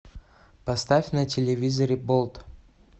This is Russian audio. поставь на телевизоре болт